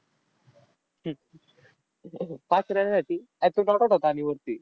पाच runs साठी अरे तो not out होता आणि वरती.